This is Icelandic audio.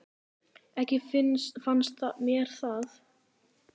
Ekki fannst mér það.